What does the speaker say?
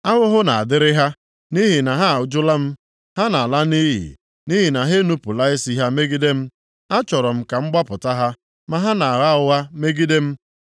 Ahụhụ na-adịrị ha, nʼihi na ha ajụla m. Ha na-ala nʼiyi nʼihi na ha enupula isi ha megide m. Achọrọ m ka m gbapụta ha, ma ha na-agha ụgha megide m.